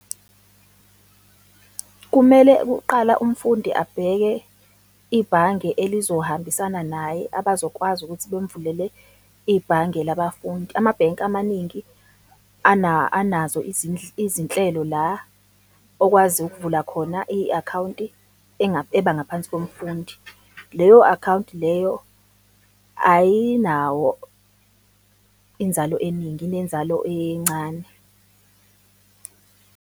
Kumele kuqala umfundi abheke ibhange elizohambisana naye, abazokwazi ukuthi bemvulele ibhange labafundi. Amabhenki amaningi anazo izinhlelo la okwazi ukuvula khona i-akhawunti ebangaphansi komfundi. Leyo-akhawunti leyo ayinawo inzalo eningi, inenzalo encane.